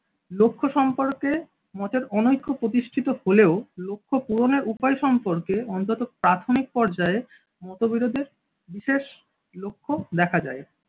লক্ষ্য সম্পর্কে মতের অনৈক্য প্রতিষ্ঠিত হলেও লক্ষ্য পূরণের উপায় সম্পর্কে অন্তত প্রাথমিক পর্যায়ে মতবিরোধের বিশেষ লক্ষ্য দেখা যায়।